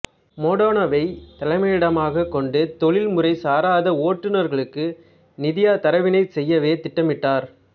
மோடெனாவைத் தலைமையிடமாகக் கொண்டு தொழில் முறைச் சாராத ஓட்டுனர்களுக்கு நிதியாதரவினைச் செய்யவே திட்டமிட்டார்